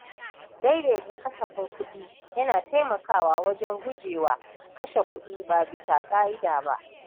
Daidaita kasafin kuɗi yana taimakawa wajen gujewa kashe kudi ba bisa ka’ida ba.